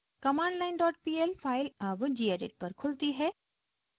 commandlinepl file अब gedit पर खुलती है